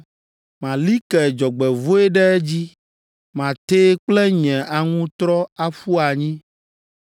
“Mali ke dzɔgbevɔ̃e ɖe edzi matee kple nye aŋutrɔ aƒu anyi.